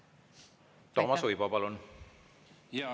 Toomas Uibo, palun!